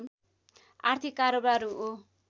आर्थिक कारोबार हो